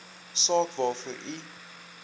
saak waarvoor u